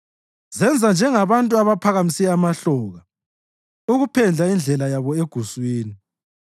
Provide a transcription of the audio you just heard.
Zenza njengabantu abaphakamise amahloka ukuphendla indlela yabo eguswini.